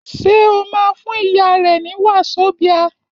Ṣé o máa fún ìyá rẹ ní wasobia?